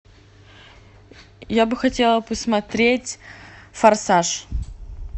я бы хотела посмотреть форсаж